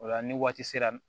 O la ni waati sera